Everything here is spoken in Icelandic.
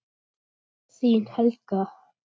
Þín Helga.